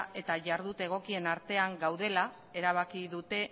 eta jardute egokien artean gaudela erabaki dute